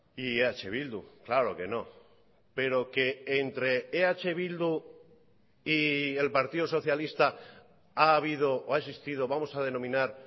y eh bildu claro que no pero que entre eh bildu y el partido socialista ha habido o ha existido vamos a denominar